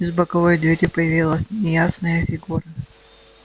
из боковой двери появилась неясная фигура